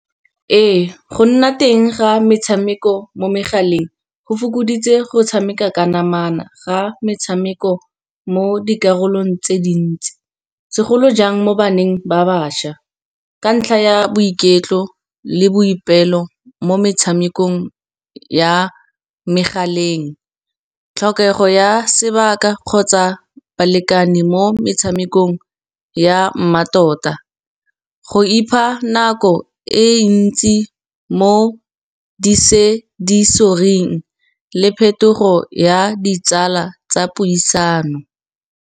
Ee go nna teng ga metshameko mo megaleng go fokoditse go tshameka ka namana, ga metshameko mo dikarolong tse dintsi. Segolo jang mo baneng ba bašwa ka ntlha ya boiketlo, le boipelo mo metshamekong ya megaleng. Tlhokego ya sebaka kgotsa balekane mo metshamekong ya mmatota, go ipha nako e ntsi mo di-sensory-ing, le phetogo ya ditsala tsa puisano.